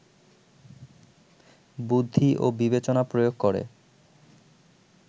বুদ্ধি ও বিবেচনা প্রয়োগ করে